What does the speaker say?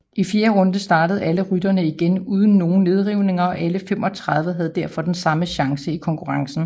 I fjerde runde startede alle ryttere igen uden nogen nedrivninger og alle 35 havde derfor den samme chance i konkurrencen